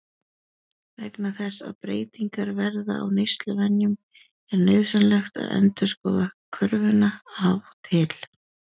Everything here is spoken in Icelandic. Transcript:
Vegna þess að breytingar verða á neysluvenjum er nauðsynlegt að endurskoða körfuna af og til.